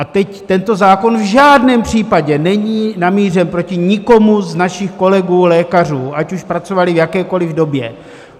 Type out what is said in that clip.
A teď tento zákon v žádném případě není namířen proti nikomu z našich kolegů lékařů, ať už pracovali v jakékoli době.